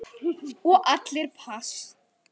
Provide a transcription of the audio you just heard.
Og allir pass.